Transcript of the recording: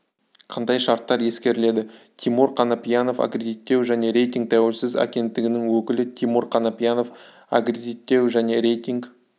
қандай шарттар ескеріледі тимур қанапиянов аккредиттеу және рейтинг тәуелсіз агенттігінің өкілі тимур қанапиянов аккредиттеу және рейтинг